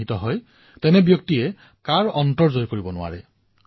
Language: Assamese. জীৱনৰ জয় হয় আৰু আমাৰ ইয়াৰ শাস্ত্ৰতো সুন্দৰকৈ এই বিষয়ে কোৱা হৈছে